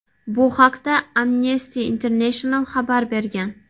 Bu haqda Amnesty International xabar bergan .